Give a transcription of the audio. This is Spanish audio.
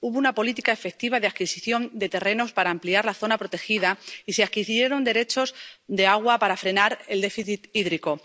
Hubo una política efectiva de adquisición de terrenos para ampliar la zona protegida y se adquirieron derechos de agua para frenar el déficit hídrico.